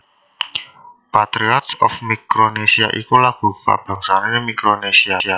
Patriots of Micronesia iku lagu kabangsané Mikronesia